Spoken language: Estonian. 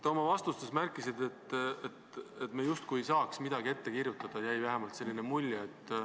Te oma vastustes märkisite, et me justkui ei saaks midagi ette kirjutada – jäi vähemalt selline mulje.